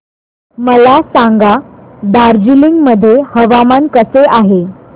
मला सांगा दार्जिलिंग मध्ये हवामान कसे आहे